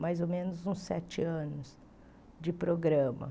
mais ou menos uns sete anos de programa.